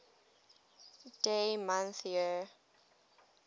dd mm yyyy